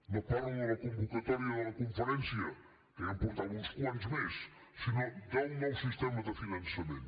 no parlo de la convocatòria de la conferència que ja en portava uns quants més sinó del nou sistema de finançament